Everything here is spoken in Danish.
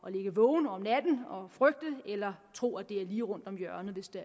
at ligge vågen om natten og frygte eller tro at det er lige rundt om hjørnet hvis det